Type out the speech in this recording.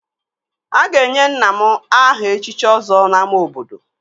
A ga-enye nna m aha echichi Ọzọ n'ámá obodo